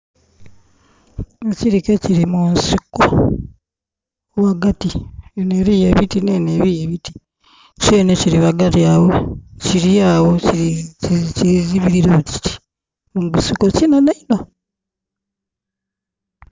Ekirike kiri mu nsiko ghagati, enho liyo ebiti nhenho eriyo ebiti. kyenhe kiri ghagati agho, kiri agho kizibirire ku kiti mu gusiko kinhenhe inho.